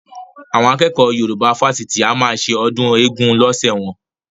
Àwọn akẹ́kọ̀ọ́ Yorùbá fásitì a máa ṣe ọdún eégún lọ́sẹ̀ wọn